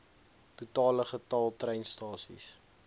totale getal treinstasies